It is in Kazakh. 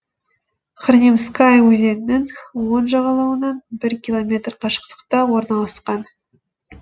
хорнемская өзенінің оң жағалауынан бір километр қашықтықта орналасқан